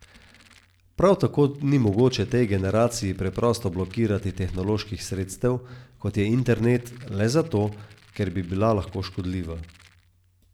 Prav tako ni mogoče tej generaciji preprosto blokirati tehnoloških sredstev, kot je internet, le zato, ker bi bila lahko škodljiva.